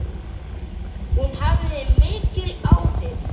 Hún hafði mikil áhrif.